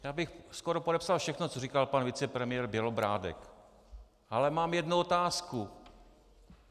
Já bych skoro podepsal všechno, co říkal pan vicepremiér Bělobrádek, ale mám jednu otázku.